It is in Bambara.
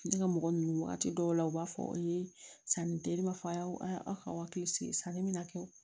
Ne ka mɔgɔ ninnu wagati dɔw la u b'a fɔ ee sanni tɛ ne b'a fɔ a ye ko akili sigi sanni bɛna kɛ